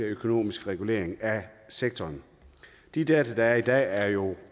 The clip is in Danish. økonomiske regulering af sektoren de data der er i dag er jo